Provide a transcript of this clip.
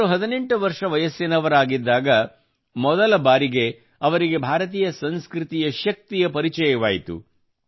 ಅವರು 18 ವರ್ಷ ವಯಸ್ಸಿನವರಾಗಿದ್ದಾಗ ಮೊದಲ ಬಾರಿಗೆ ಅವರಿಗೆ ಭಾರತೀಯ ಸಂಸ್ಕೃತಿಯ ಶಕ್ತಿಯ ಪರಿಚಯವಾಯಿತು